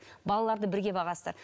балаларды бірге бағасыздар